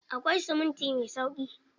Akwai siminti mai sauƙi.